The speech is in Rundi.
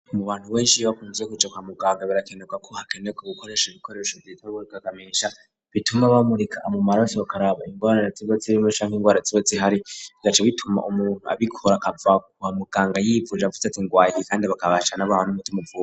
Mu bantu benshi bakunze kija ba muganga birakenuka ko hakene ko gukoresha ibikoresho vyitebagurika kamesha bituma bamurika amumaraso hkaraba indwarartsibots ibimesha nk'indwara tsibots ihari gace bituma umuntu abikora akava kuhamuganga yifuje avuze ati ngwayie kandi bakabachaa n'abahan'umute umubwira.